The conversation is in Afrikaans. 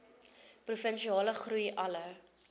provinsiale groei alle